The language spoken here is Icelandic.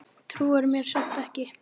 Trúir mér samt ekki.